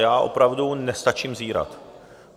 Já opravdu nestačím zírat.